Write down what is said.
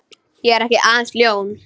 Ég er ekki aðeins ljón.